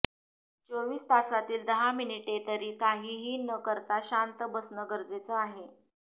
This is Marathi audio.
चोवीस तासातील दहा मिनिटे तरी काहीही न करता शांत बसणं गरजेचे आहे